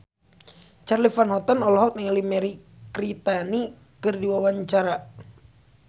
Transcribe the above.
Charly Van Houten olohok ningali Mirei Kiritani keur diwawancara